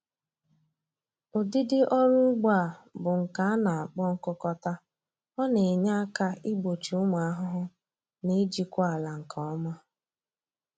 Ụdịdị ọrụ ugbo a bụ nke a na-akpọ nkụkọta, ọ na-enye aka igbochi ụmụ ahụhụ na ijikwa ala nke ọma